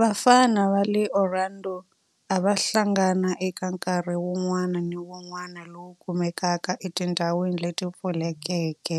Vafana va le Orlando a va hlangana eka nkarhi wun'wana ni wun'wana lowu kumekaka etindhawini leti pfulekeke